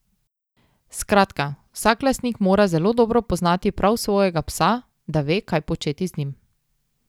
Skratka, vsak lastnik mora zelo dobro poznati prav svojega psa, da ve, kaj početi z njim.